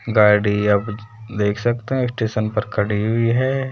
गाड़ी अब देख सकते है स्टेशन पर खड़ी हुई है।